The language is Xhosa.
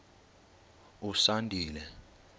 usandile